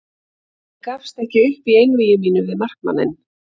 Ég gafst ekki upp í einvígi mínu við markmanninn.